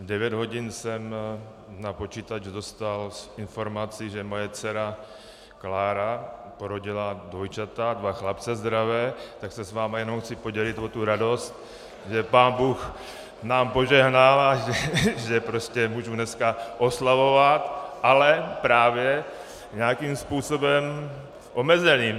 V devět hodin jsem na počítač dostal informaci, že moje dcera Klára porodila dvojčata, dva chlapce zdravé, tak se s vámi jenom chci podělit o tu radost, že pánbůh nám požehnal a že prostě můžu dneska oslavovat, ale právě nějakým způsobem omezeným.